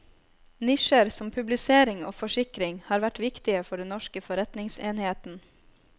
Nisjer som publisering og forsikring har vært viktige for den norske forretningsenheten.